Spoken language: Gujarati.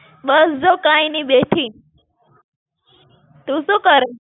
બસ જો કઈ નઈ, બેઠી. તું શું કરે?